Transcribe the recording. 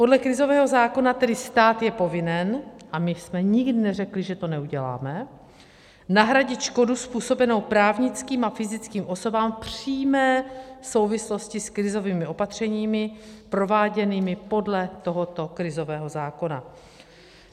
Podle krizového zákona tedy stát je povinen - a my jsme nikdy neřekli, že to neuděláme - nahradit škodu způsobenou právnickým a fyzickým osobám v přímé souvislosti s krizovými opatřeními prováděnými podle tohoto krizového zákona.